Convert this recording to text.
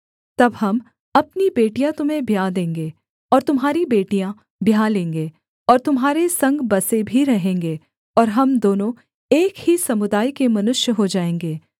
तब हम अपनी बेटियाँ तुम्हें ब्याह देंगे और तुम्हारी बेटियाँ ब्याह लेंगे और तुम्हारे संग बसे भी रहेंगे और हम दोनों एक ही समुदाय के मनुष्य हो जाएँगे